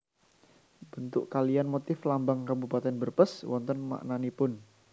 Bentuk kaliyan motif lambang Kabupatèn Brebes wonten maknanipun